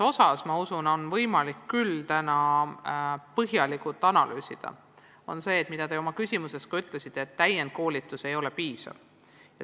Samas on vaja põhjalikult analüüsida seda, millele te oma küsimuses ka tähelepanu juhtisite: et täienduskoolitus ei ole piisav.